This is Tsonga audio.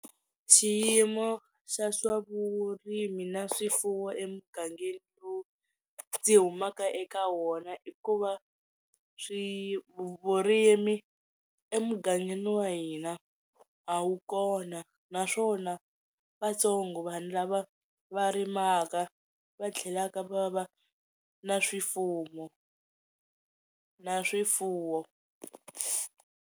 Xiyimo xa swa vurimi na swifuwo emugangeni lowu ndzi humaka eka wona i ku va swi vurimi emugangeni wa hina a wu kona naswona va tsongo vanhu lava va rimaka va tlhelaka va va na swifuwo na swifuwo.